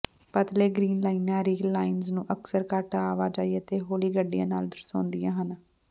ਪਤਲੇ ਗ੍ਰੀਨ ਲਾਈਨਾਂ rail lines ਨੂੰ ਅਕਸਰ ਘੱਟ ਆਵਾਜਾਈ ਅਤੇ ਹੌਲੀ ਗੱਡੀਆਂ ਨਾਲ ਦਰਸਾਉਂਦੀਆਂ ਹਨ